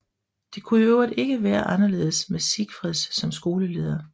Det kunne i øvrigt ikke være anderledes med Sigfred som skoleleder